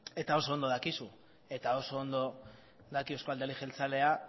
eta oso ondo dakizu eta oso ondo daki euzko alderdi jeltzaleak